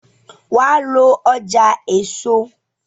wá ló ọjà èso!